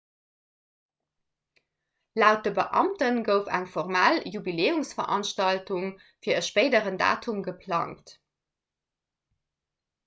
laut de beamte gouf eng formell jubiläumsveranstaltung fir e spéideren datum geplangt